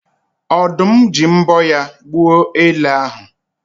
Ọ̀dụ́m ji mbọ́ ya gbuo ele ahụ